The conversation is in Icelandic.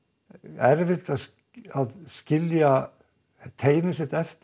erfitt að skilja teymið sitt eftir